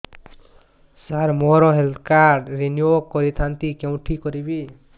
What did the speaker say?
ସାର ମୋର health card renew କରିଥାନ୍ତି କେଉଁଠି କରିବି